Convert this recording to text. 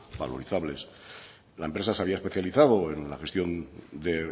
valorizables la empresa se había especializado en la gestión de